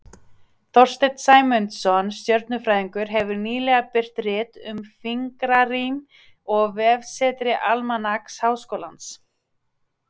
þorsteinn sæmundsson stjörnufræðingur hefur nýlega birt rit um fingrarím á vefsetri almanaks háskólans